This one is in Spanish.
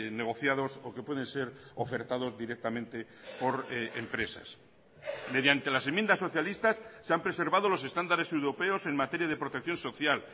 negociados o que pueden ser ofertados directamente por empresas mediante las enmiendas socialistas se han preservado los estándares europeos en materia de protección social